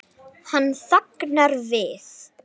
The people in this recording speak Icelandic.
Hann þagnar við.